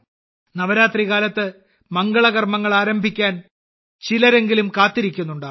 നവരാത്രി കാലത്ത് മംഗളകർമ്മങ്ങൾ ആരംഭിക്കാൻ ചിലരെങ്കിലും കാത്തിരിക്കുന്നുണ്ടാവും